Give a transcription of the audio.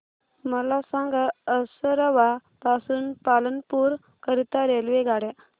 मला सांगा असरवा पासून पालनपुर करीता रेल्वेगाड्या